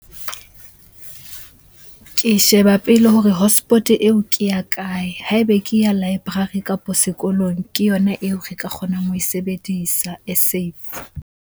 Ke sheba pele hore hotspot-e eo ke ya kae? Ha ebe ke ya library kapo sekolong, ke yona eo re ka kgonang ho e sebedisa e safe.